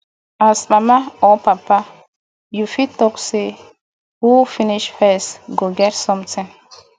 as mama or papa you fit talk sey who finish first go get something